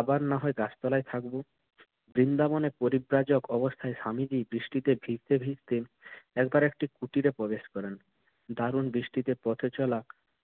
আবার না হয় গাছতলায় থাকব। বৃন্দাবনে পরিব্রাজক অবস্থায় স্বামীজি বৃষ্টিতে ভিজতে ভিজতে একবার একটি কুটিরে প্রবেশ করেন দারুণ বৃষ্টিতে পথে